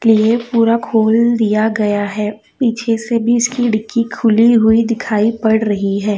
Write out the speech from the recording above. पूरा खोल दिया गया है पीछे से भी इसकी डिग्गी खुली हुई दिखाई पड़ रही है।